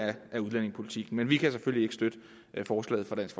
af udlændingepolitikken men vi kan selvfølgelig ikke støtte forslaget fra dansk